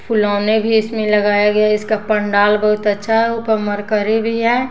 फुलौने भी इसमें लगाया गया है इसका पंडाल बहुत अच्छा है ऊपर मरकरी भी है।